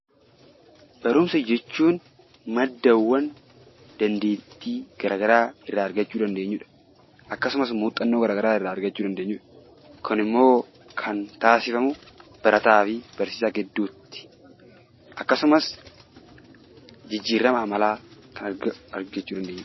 Barumsa jechuun maddaawwan dandeettii garaagaraa irraa argachuu dandeenyudha. Akkasumas muuxannoo garaagaraa irraa argachuu dandeenyudha. Kun immoo kan taasifamu barataa fi barsiisaa gidduutti akkasumas jijjiirama amalaa kan argachuu dandeenyudha.